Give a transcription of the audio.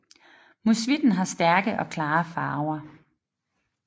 Musvitten har stærke og klare farver